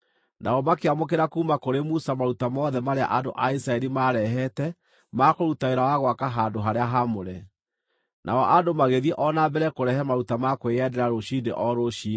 Nao makĩamũkĩra kuuma kũrĩ Musa maruta mothe marĩa andũ a Isiraeli maarehete ma kũruta wĩra wa gwaka handũ-harĩa-haamũre. Nao andũ magĩthiĩ o na mbere kũrehe maruta ma kwĩyendera rũciinĩ o rũciinĩ.